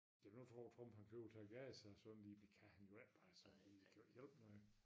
Det kan du tro folk han flyver til Gaza sådan lige det kan han jo ik altså det kan jo ikke hjælpe noget